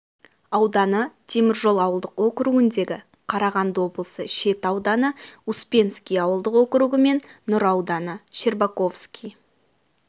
ауданы теміржол ауылдық округіндегі қарағанды облысы шет ауданы успенский ауылдық округі мен нұра ауданы щербаковский